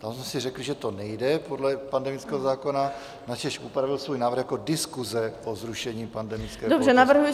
Tam jsme si řekli, že to nejde podle pandemického zákona, načež upravil svůj návrh jako diskuse o zrušení pandemické pohotovosti.